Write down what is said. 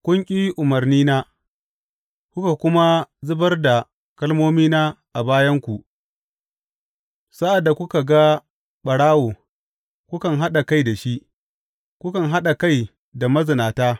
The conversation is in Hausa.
Kun ƙi umarnina kuka kuma zubar da kalmomina a bayanku Sa’ad da kuka ga ɓarawo, kukan haɗa kai da shi; kukan haɗa kai da mazinata.